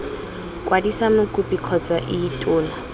kwadisa mokopi kgotsa ii tona